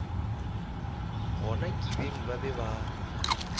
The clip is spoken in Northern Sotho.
gona kibeng ba be ba